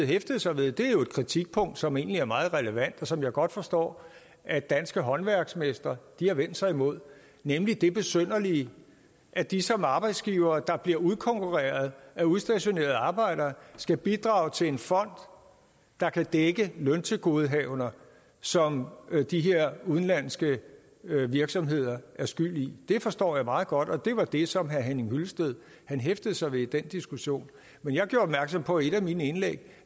hæftede sig ved er jo et kritikpunkt som egentlig er meget relevant og som jeg godt forstår at danske håndværksmestre har vendt sig imod nemlig det besynderlige at de som arbejdsgivere der bliver udkonkurreret af udstationerede arbejdere skal bidrage til en fond der kan dække løntilgodehavender som de her udenlandske virksomheder er skyld i jeg forstår meget godt at det var det som herre henning hyllested hæftede sig ved i den diskussion men jeg gjorde opmærksom på i et af mine indlæg